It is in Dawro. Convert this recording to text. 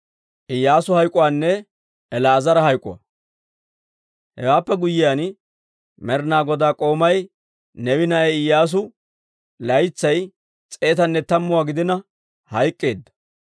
Hewaappe guyyiyaan Med'ina Godaa k'oomay, Neewe na'aa Iyyaasu, laytsay s'eetanne tammuwaa gidina hayk'k'eedda.